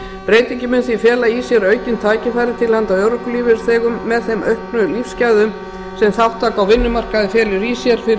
breytingin mun því fela í sér aukin tækifæri til handa örorkulífeyrisþegum með þeim auknu lífsgæðum sem þátttaka á vinnumarkaði felur í sér fyrir